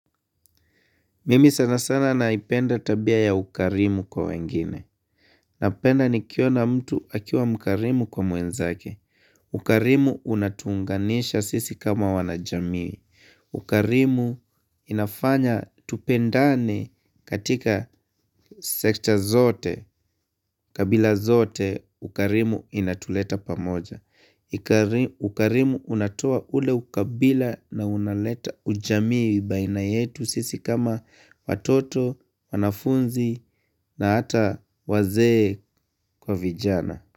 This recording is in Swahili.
Mimi sana sana naipenda tabia ya ukarimu kwa wengine. Napenda ni kiona mtu akiwa mkarimu kwa mwenzake. Ukarimu unatunganisha sisi kama wana jamii. Ukarimu inafanya tupendane katika sekta zote, kabila zote, ukarimu inatuleta pamoja. Ukarimu unatoa ule ukabila na unaleta ujamii baina yetu sisi kama watoto, wanafunzi na hata wazee kwa vijana.